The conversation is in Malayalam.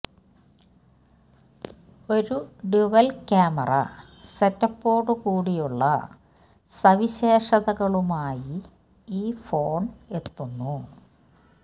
ഒരു ഡ്യുവല് ക്യാമറ സെറ്റപ്പോടു കൂടിയുളള സവിശേഷതകളുമായി ഈ ഫോണ് എത്തുന്നു